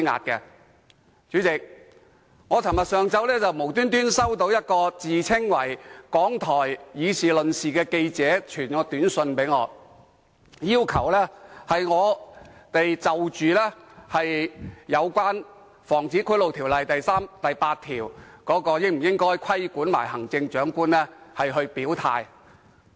代理主席，昨天上午，我突然收到一名自稱港台"議事論事"節目記者傳來的短訊，要求我就《防止賄賂條例》第3及8條應否規管行政長官表態。